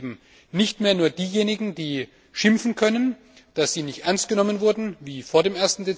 Wir sind eben nicht mehr nur diejenigen, die schimpfen können, dass sie nicht ernst genommen werden, wie vor dem